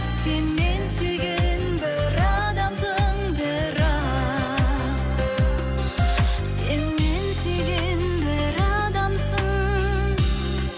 сен мен сүйген бір адамсың бірақ сен мен сүйген бір адамсың